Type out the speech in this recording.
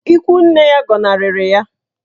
Ikwu nne ya gọnarịrị ya.